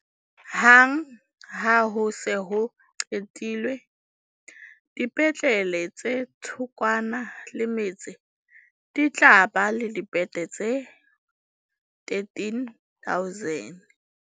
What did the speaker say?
Hang ha ho se ho qetilwe, dipetlele tse thokwana le metse di tla ba le dibethe tse13 000.